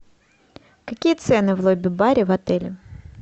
какие цены в лобби баре в отеле